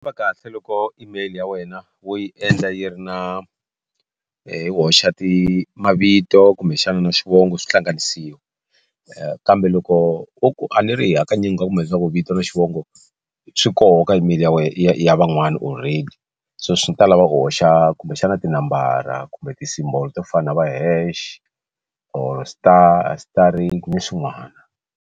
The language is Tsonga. Swi va kahle loko email ya wena wo yi endla yi ri na yi hoxa mavito kumbexana na xivongo swi hlanganisiwa kambe loko u ku a ni ri hi hakanyingi kumbe leswaku vito na xivongo swi koho ka email ya wena ya van'wana already so swi ta lava u hoxa kumbexana tinambara kumbe ti symbol to fana na va hash or star na swin'wana.